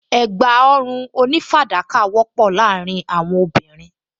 Ẹ̀gbá ọrùn onífàdákà wọ́pọ̀ láàárín àwọn obìnrin